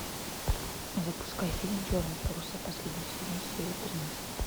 запускай фильм черные паруса последний сезон серия тринадцать